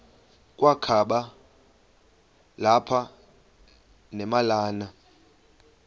kwakaba lapha nemalana